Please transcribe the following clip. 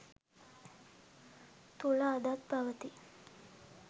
තුළ අදත් පවති යි.